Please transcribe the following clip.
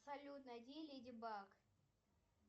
салют найди леди баг